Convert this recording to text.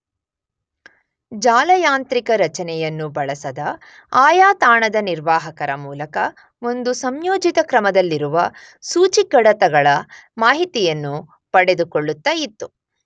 ಜಾಲಯಾಂತ್ರಿಕ ರಚನೆಯನ್ನು ಬಳಸದ ಆಯಾ ತಾಣದ ನಿರ್ವಾಹಕರ ಮೂಲಕ ಒಂದು ಸಂಯೋಜಿತ ಕ್ರಮದಲ್ಲಿರುವ ಸೂಚಿಕಡತಗಳ ಮಾಹಿತಿಯನ್ನು ಪಡೆದುಕೊಳ್ಳುತ್ತ ಇತ್ತು.